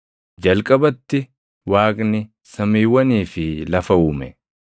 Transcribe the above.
Jalqabatti Waaqni samiiwwanii fi lafa uume.